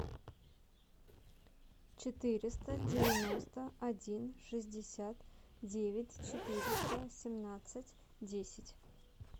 четыреста девяносто один шестьдесят девять четыреста семнадцать десять